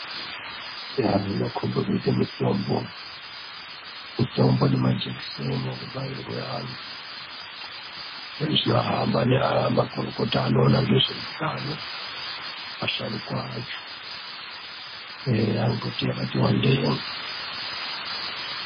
Iyi inokhomba kuite mitombo. Mitombo nemajekiseni anobairwe antu. Zvino hamba ne makuruko anoita ngezveutano, asharuka acho eya ngekuti yakati wandei.